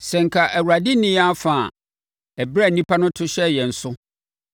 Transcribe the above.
Sɛ anka Awurade nni yɛn afa ɛberɛ a nnipa to hyɛɛ yɛn so,